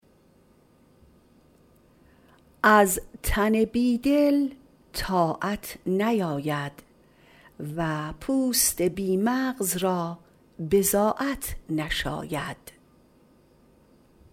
از تن بی دل طاعت نیاید و پوست بی مغز را بضاعت نشاید